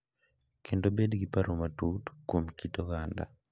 Kendo bed gi paro matut kuom kit oganda